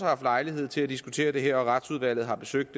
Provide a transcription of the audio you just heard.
haft lejlighed til at diskutere det her og retsudvalget har besøgt